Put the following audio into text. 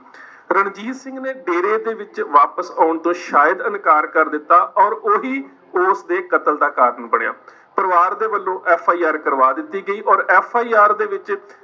ਰਣਜੀਤ ਸਿੰਘ ਨੇ ਡੇਰੇ ਦੇ ਵਿੱਚ ਵਾਪਿਸ ਆਉਣ ਤੋਂ ਸ਼ਾਇਦ ਇਨਕਾਰ ਕਰ ਦਿੱਤਾ ਔਰ ਉਹੀ ਉਸਦੇ ਕਤਲ ਦਾ ਕਾਰਨ ਬਣਿਆ ਪਰਿਵਾਰ ਦੇ ਵੱਲੋਂ FIR ਕਰਵਾ ਦਿੱਤੀ ਗਈ ਔਰ FIR ਦੇ ਵਿੱਚ